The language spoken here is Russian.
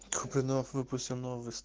куплинов выпустил новый с